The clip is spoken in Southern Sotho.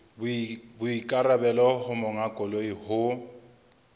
boikarabelo ba monga koloi ho